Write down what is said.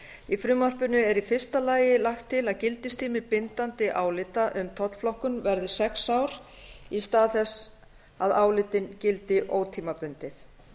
í frumvarpinu er í fyrsta lagi lagt til að gildistími bindandi álita um tollflokkun verði sex ár í stað þess að álitin gildi ótímabundið